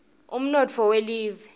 umnotfo welive